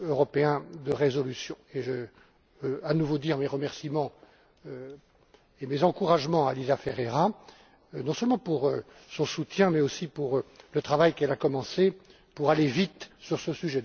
européen de résolution, et je veux, à nouveau, exprimer mes remerciements et mes encouragements à Elisa Ferreira, non seulement pour son soutien mais aussi pour le travail qu'elle a commencé, pour aller vite sur ce sujet.